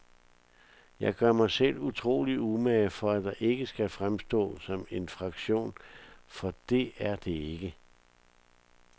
Jeg gør mig selv utrolig umage for, at det ikke skal fremstå som en fraktion, for det er det ikke.